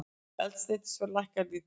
Eldsneytisverð lækkar lítillega